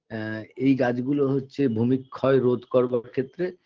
আ এই গাছগুলো হচ্ছে ভূমিক্ষয় রোধ করবার ক্ষেত্রে